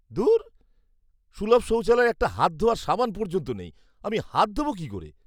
ধুর, সুলভ শৌচালয়ে একটা হাত ধোওয়ার সাবান পর্যন্ত নেই। আমি হাত ধোব কী করে?